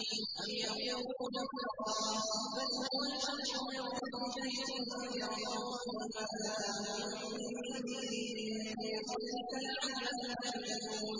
أَمْ يَقُولُونَ افْتَرَاهُ ۚ بَلْ هُوَ الْحَقُّ مِن رَّبِّكَ لِتُنذِرَ قَوْمًا مَّا أَتَاهُم مِّن نَّذِيرٍ مِّن قَبْلِكَ لَعَلَّهُمْ يَهْتَدُونَ